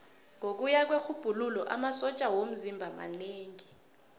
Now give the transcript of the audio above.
ngokuya kwerhubhululo amasotja womzimba manengi